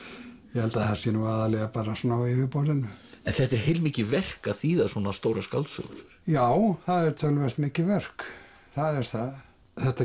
ég held að það sé nú aðallega svona á yfirborðinu þetta er heilmikið verk að þýða svona stórar skáldsögur já það er töluvert mikið verk það er það þetta